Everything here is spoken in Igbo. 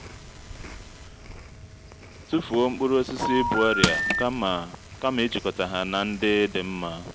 tufuo mkpụrụ osisi bu ọrịa kama kama ijikọta ha na ndị dị nma